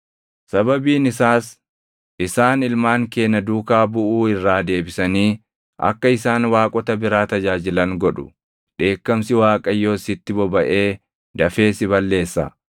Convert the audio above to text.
sababiin isaas isaan ilmaan kee na duukaa buʼuu irraa deebisanii akka isaan waaqota biraa tajaajilan godhu; dheekkamsi Waaqayyoos sitti bobaʼee dafee si balleessa.